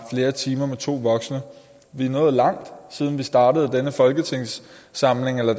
flere timer med to voksne vi er nået langt siden vi startede denne folketingssamling eller